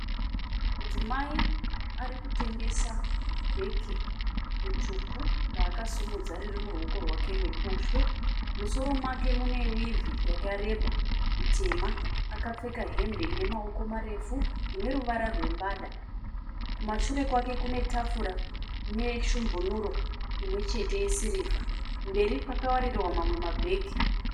Mudzimai ari kutengesa bheke ritsvuku raakasumudza riri muruoko rwake rwerubushwe. Mumusoro make mune wivhi yakareba itema. Akapfeka hembe ine maoko marefu ine ruvara rwembada. Kumashure kwake kune tafura nesvumbunuro imwe chete yesirivha. Mberi kwakawarirwa mamwe mabhegi.